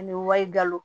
Ani wali galo